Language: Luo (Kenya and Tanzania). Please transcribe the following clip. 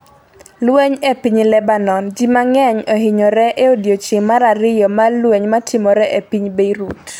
Lweny e piny Lebanon: Ji mang'eny ohinyre e odiechieng' mar ariyo mar lweny matimore e piny Beirut